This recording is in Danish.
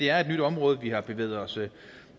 er et nyt område vi har bevæget os